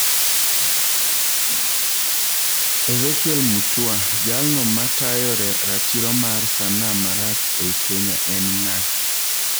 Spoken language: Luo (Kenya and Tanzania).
Ezekiel Mutua, Jaalno matayo ratiro mar sanaa marach ei kenya en ng'a?